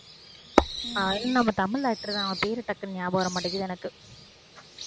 உம் அதும் நம்ம தமிழ் actor தான் அவன் பேரு டக்குன்னு ஞாபகம் வர மாட்டேங்குது எனக்கு